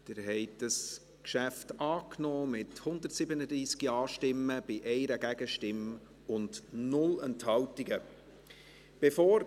Sie haben dieses Geschäft mit 137 Ja-Stimmen bei 1 Gegenstimme und 0 Enthaltungen angenommen.